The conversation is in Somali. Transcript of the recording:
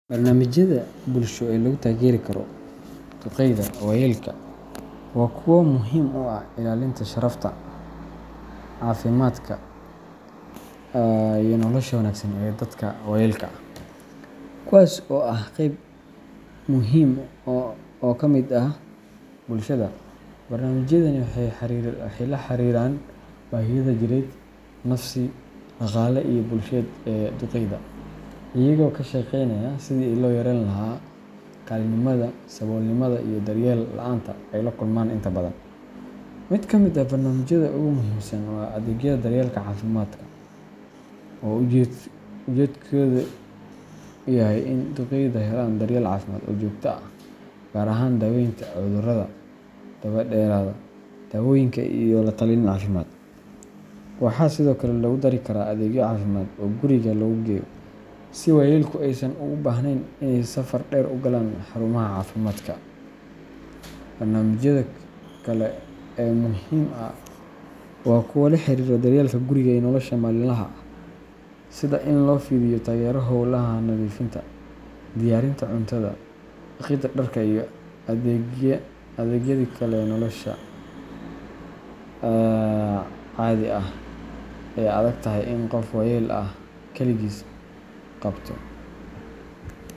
Barnamijyada bulshoyin lagu Tageri karo duqeyda Wayelka Waa Kuwo muhiim uu ah ilaalinta sharafta cafimadka iyo nolasha wanagsan dadka wayeelka kuwas oo Ah Qeyb Muhim oo kamid ah bulshada barnamijyadan wxey la xariiran bahiyada jireed nafsi daqaale ee bulshada ee duqeyda iyago ka shekeynaya sidii loo yareen lahaa kalinimaada Sabolnimada iyo daryeel la'anta aay laa kulmaan intaa badaan mid kamid ah barnamijyada ugu muhimsan wa adegyada daryelka cafiimaadka ujedkoodu yahaay iin duqeyda helaan daryeel cafimaad oo joogto ah gaar ahaan daweynta cuduurada dabaa dheraada dawoyinka iyo lataliin cafimaad wxa diso Kaale logu darii karaa adeegyo cafimaad oo guriiga laguu geeyoo sii wayeelka aysaan uu bahneyn iney safaar dheer uu galaan xaruumaha cafiimaadka barnamijyada Kale ee muhimka ah wa kuwo laa xariiro daryelka guriga ee nolasha maliinlaha sida iin lofidiiyo tagero howlaha nadifiinta diyariinta cuntaada daqida dharka iyo adeegyada Kale ee nolasha cadiga ah aay adagtahay in qoof wayeel ah kaligiid qaabto